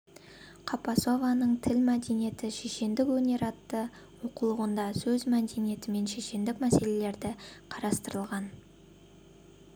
қапасованың тіл мәдениеті шешендік өнер атты оқулығында сөз мәдениеті мен шешендік мәселелері қарастырылған